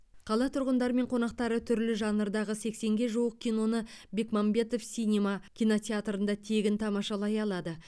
қала тұрғындары мен қонақтары түрлі жанрдағы сексенге жуық киноны бекмамбетов синема кинотеатрында тегін тамашалай алады